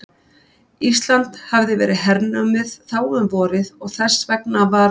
Ísland hafði verið hernumið þá um vorið og þess vegna varð